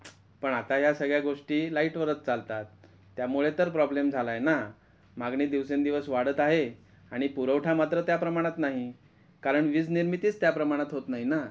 पण आता या सगळ्या गोष्टी लाइट वरच चालतात त्यामुळे तर प्रॉब्लम झाला आहे ना. मागणी दिवसान दिवस वाढत आहे आणि पुरवठा मात्र त्या प्रमाणात नाही कारण वीजनिर्मितीच त्या प्रमाणात होत नाही ना.